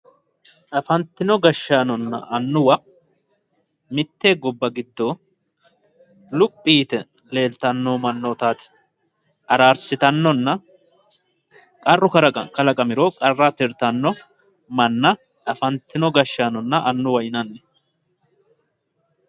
Afantino gashshaanonna annuwa mitte gobba giddo luphi yite leeltanno mannootaati araarsitannonna qarru kalaqamiro qarra tirtannore afantino gashshaanonna annuwate yinanni